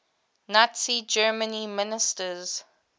nazi germany ministers